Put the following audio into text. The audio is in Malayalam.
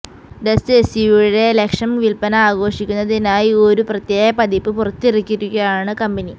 ഡസ്റ്റര് എസ്യുവിയുടെ ലക്ഷം വില്പന ആഘോഷിക്കുന്നതിനായി ഒരു പ്രത്യേക പതിപ്പ് പുറത്തിറക്കിയിരിക്കുകയാണ് കമ്പനി